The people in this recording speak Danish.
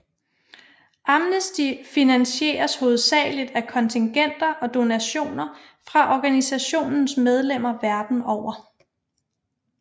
Amnesty finansieres hovedsageligt af kontingenter og donationer fra organisationens medlemmer verden over